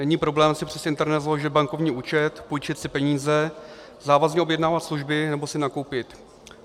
Není problém si přes internet založit bankovní účet, půjčit si peníze, závazně objednávat služby nebo si nakoupit.